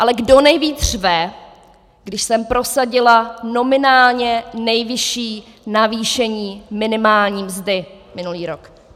Ale kdo nejvíc řve, když jsem prosadila nominálně nejvyšší navýšení nominální mzdy minulý rok?